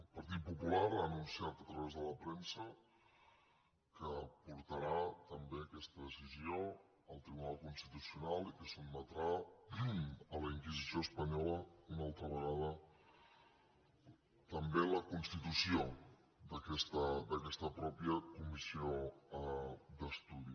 el partit popular ha anunciat a través de la premsa que portarà també aquesta decisió al tribunal constitucional i que sotmetrà a la inquisició espanyola una altra vegada també la constitució d’aquesta mateixa comissió d’estudi